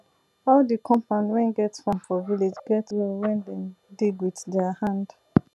all de compound wen get farm for village get well wen dem dig wit dier hand